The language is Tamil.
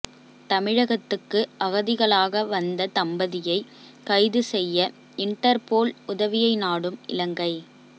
தமிழகத்துக்கு அகதிகளாக வந்த தம்பதியை கைது செய்ய இன்டர்போல் உதவியை நாடும் இலங்கை